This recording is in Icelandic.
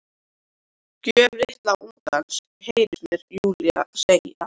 Gröf litla ungans, heyrist mér Júlía segja.